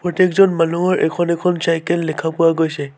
প্ৰত্যেকজন মানুহৰ এখন এখন চাইকেল লেখা পোৱা গৈছে।